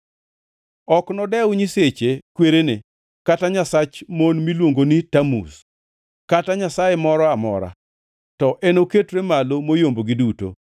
Ok nodew nyiseche kwerene, kata nyasach mon miluongo ni Tamuz, kata nyasaye moro amora, to enoketre malo moyombogi duto.